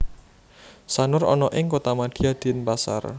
Sanur ana ing Kotamadya Denpasar